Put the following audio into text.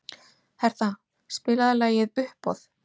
Hertha, spilaðu lagið „Uppboð“.